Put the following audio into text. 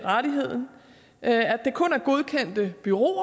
rettigheden at det kun er godkendte bureauer